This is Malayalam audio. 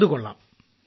അതു കൊള്ളാം